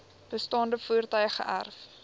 bestaande voertuie geërf